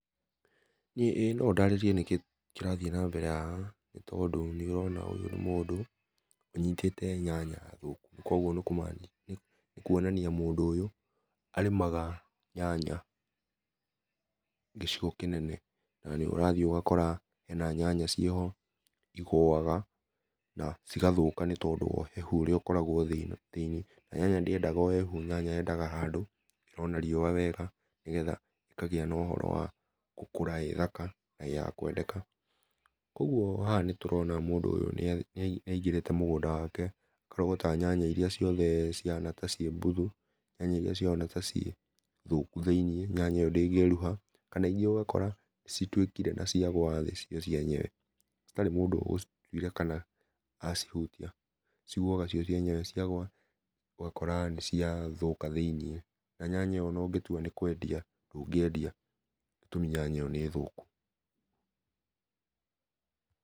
ĩ no ndarĩrie nĩ kĩ kĩrathiĩ na mbere haha, nĩ tondũ nĩ ũrona ũyũ nĩ mũndũ ũnyĩtĩte nyanya thũkũ, kogwo nĩ kũonania mũndũ ũyũ arĩmaga nyanya gĩcigo kĩnene, na nĩ ũrathiĩ ũgakora ena nyanya ciĩ ho igũaga na cĩgathũka, nĩ tondũ wa ũhehũ ũrĩa ũkoragwo thĩ na nyanya ndĩendaga ũhehũ, nyanya yendaga handũ hena riũa wega nĩgetha ĩkagĩa na ũhoro wa gũkũra wega, ĩ thaka na ya kwendeka, kogwo haha nĩtũrona mũndũ ũyũ nĩaingĩrĩte mũgũnda wake, akarogota nyanya ĩrĩa ciothe ihana ta irĩ mbũthũ, nyanya ĩrĩa ĩhana ta ciĩ mbũthũ thĩiniĩ, nyanya ĩyo ndĩngĩrũha kana ĩrĩa ũgakora nĩ citũĩkĩre na cĩagũa thĩ cio cienyewe, hatarĩ mũndũ ũcĩtũire kana acihũtia, cĩgũaga cio cienyewe, ũgakora nĩ cia thũka thĩiniĩ na nyanya ĩyo ona ũngĩtũĩka nĩ ũkũmĩendia ndũngĩendia to nĩ thũku.